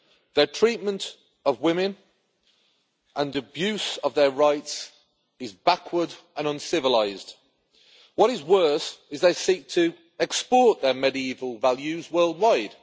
Their treatment of women and abuse of their rights is backward and uncivilised. What is worse, they seek to export their medieval values worldwide.